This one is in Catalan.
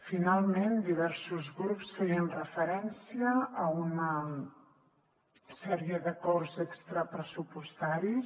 finalment diversos grups feien referència a una sèrie d’acords extrapressupostaris